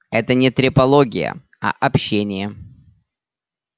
это не трепология а общение